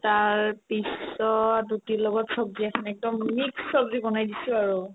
তাৰপিছত ৰুটিৰ লগত ছব্জি এখন একদম mixed ছব্জি বনাই দিছো আৰু